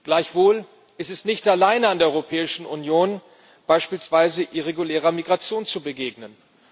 Gleichwohl ist es nicht allein an der Europäischen Union, beispielsweise irregulärer Migration zu begegnen.